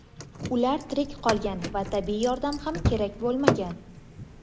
Ular tirik qolgan va tibbiy yordam ham kerak bo‘lmagan.